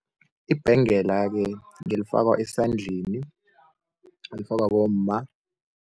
Ibhengela-ke ngelifakwa esandleni, elifakwa bomma.